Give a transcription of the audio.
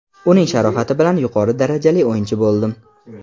Uning sharofati bilan yuqori darajali o‘yinchi bo‘ldim.